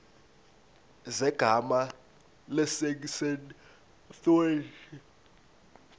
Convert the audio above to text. zegama lesngesn authorit